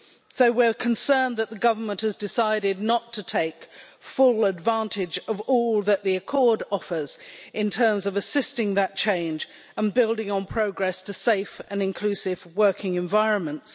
So we're concerned that the government has decided not to take full advantage of all that the accord offers in terms of assisting that change and building on progress to safe and inclusive working environments.